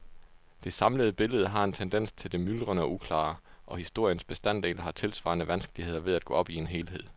Det samlede billede har en tendens til det myldrende og uklare, og historiens bestanddele har tilsvarende vanskeligheder ved at gå op i en helhed.